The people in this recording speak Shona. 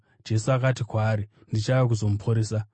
Jesu akati kwaari, “Ndichauya kuzomuporesa.”